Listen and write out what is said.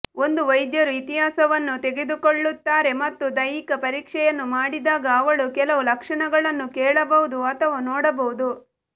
ಒಂದು ವೈದ್ಯರು ಇತಿಹಾಸವನ್ನು ತೆಗೆದುಕೊಳ್ಳುತ್ತಾರೆ ಮತ್ತು ದೈಹಿಕ ಪರೀಕ್ಷೆಯನ್ನು ಮಾಡಿದಾಗ ಅವಳು ಕೆಲವು ಲಕ್ಷಣಗಳನ್ನು ಕೇಳಬಹುದು ಅಥವಾ ನೋಡಬಹುದು